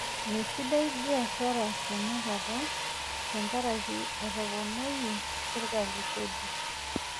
Meisidai biashara tenakata tenkaraki etoponayie serkali kodi.